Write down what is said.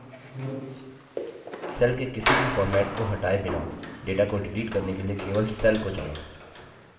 cell के किसी भी फॉर्मेट को हटाए बिना data को डिलीट करने के लिए केवल cell को चुनें